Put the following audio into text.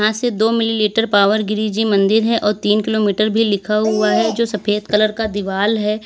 इसे दो मिलीलीटर पावर गिरी जी मंदिर है और तीन किलोमीटर भी लिखा हुआ है जो सफेद कलर का दीवाल है।